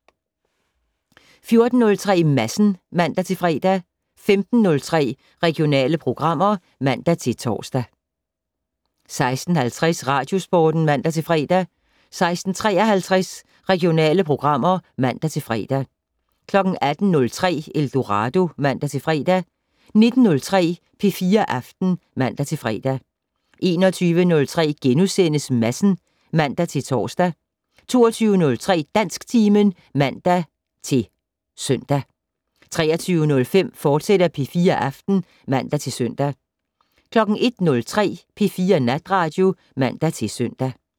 14:03: Madsen (man-fre) 15:03: Regionale programmer (man-tor) 16:50: Radiosporten (man-fre) 16:53: Regionale programmer (man-fre) 18:03: Eldorado (man-fre) 19:03: P4 Aften (man-fre) 21:03: Madsen *(man-tor) 22:03: Dansktimen (man-søn) 23:05: P4 Aften, fortsat (man-søn) 01:03: P4 Natradio (man-søn)